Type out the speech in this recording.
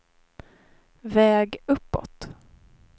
väg uppåt